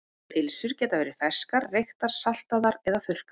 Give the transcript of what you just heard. Pylsur geta verið ferskar, reyktar, saltaðar eða þurrkaðar.